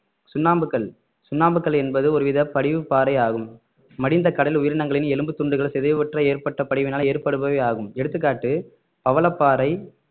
சுண்ணாம்புக்கல் சுண்ணாம்புக்கல் என்பது ஒருவித படிவுப்பாறை ஆகும் மடிந்த கடல் உயிரினங்களின் எலும்பு துண்டுகள் சிதைவுற்ற ஏற்பட்ட படிவினால் ஏற்படுபவை ஆகும் எடுத்துக்காட்டு பவளப்பாறை